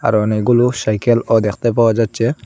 আরো অনেকগুলো সাইকেলও দেখতে পাওয়া যাচ্চে ।